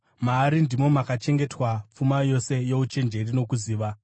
maari ndimo makachengetwa pfuma yose youchenjeri nokuziva.